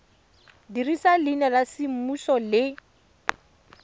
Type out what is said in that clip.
dirisa leina la semmuso le